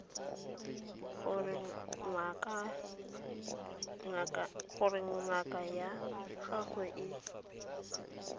gore ngaka ya gago e